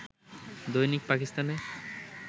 দৈনিক পাকিস্তান-এ